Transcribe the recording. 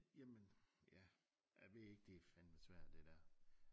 Jamen ja jeg ved ikke det fandme svært det der